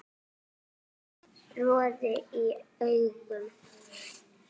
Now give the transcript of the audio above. Roði í augum